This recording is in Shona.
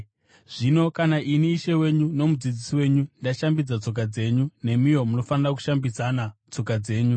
Zvino kana ini, Ishe wenyu noMudzidzisi wenyu, ndashambidza tsoka dzenyu, nemiwo munofanira kushambidzana tsoka dzenyu.